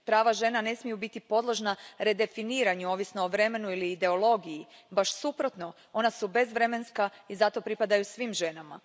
Prava žena ne smiju biti podložna redefiniranju ovisno o vremenu ili ideologiji, baš suprotno ona su bezvremenska i zato pripadaju svim ženama.